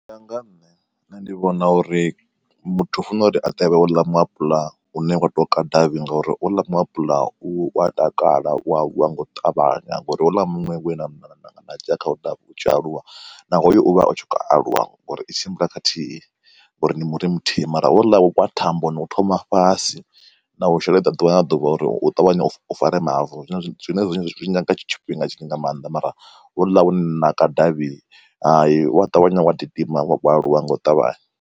U ya nga ha nṋe ndi vhona uri muthu u funa uri a ṱavhe houḽa mu apula u ne wa ṱoka davhi ngauri houḽa mu apula u a takala wa wa nga u ṱavhanya ngauri houḽa muṅwe we na na dzhia khawo u u tshi aluwa na hoyu u vha u tshi kho u aluwa. Ngauri i tshimbila khathihi ngauri ndi muri muthihi, mara houḽa wa thambo ni u thoma fhasi na u sheledza ḓuvha na ḓuvha uri u ṱavhanye u fare mavu, zwino zwine zwi nyaga tshifhinga tshinzhi nga maanḓa mara houḽa u ne na ka davhi, hayi u wa ṱavhanya wa gidima, wa aluwa nga u ṱavhanya.